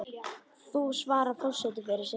Nú svarar forseti fyrir sig.